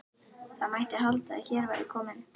Það mætti halda að hér væri kominn